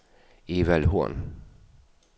Evald Horn